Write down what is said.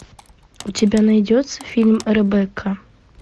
у тебя найдется фильм ребекка